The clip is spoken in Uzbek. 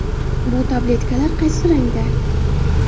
Bu tabletkalar qaysi rangda?